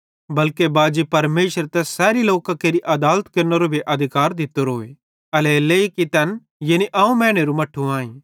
बल्के बाजी परमेशरे तैस सैरी लोकां केरि आदालत केरनेरो भी अधिकार दित्तोरोए एल्हेरेलेइ कि तैन यानी अवं मैनेरू मट्ठू आईं